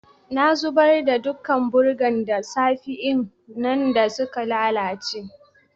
Na zubar da dukan burgan da safe'n nan dan sun lallace.